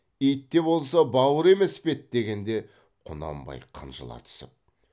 ит те болса бауыр емес пе еді дегенде құнанбай қынжыла түсіп